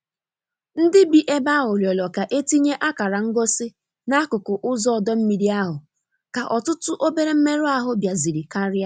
Ndị bi ebe ahụ rịọrọ ka etinye akara ngosi n'akụkụ ụzọ ọdọ mmiri ahụ ka ọtụtụ obere mmerụ ahụ biaziri karia.